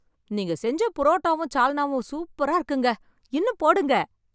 நீங்க செஞ்ச புரோட்டாவும் சால்னாவும் சூப்பரா இருக்குங்க.இன்னும் போடுங்க.